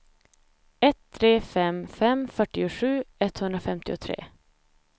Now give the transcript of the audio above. ett tre fem fem fyrtiosju etthundrafemtiotre